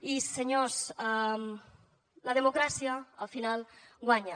i senyors la democràcia al final guanya